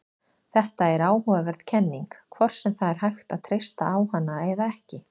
Þetta er áhugaverð kenning, hvort sem það er hægt að treysta á hana eða ekki.